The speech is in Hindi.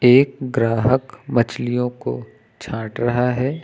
एक ग्राहक मछलियों को छांट रहा है।